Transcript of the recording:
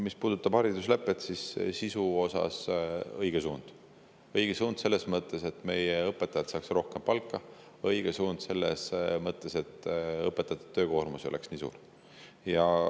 Mis puudutab hariduslepet, siis sisu osas on see õige suund, õige suund selles mõttes, et meie õpetajad saaks rohkem palka, ja õige suund selles mõttes, et õpetajate töökoormus ei oleks nii suur.